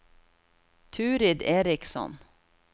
Turid Eriksson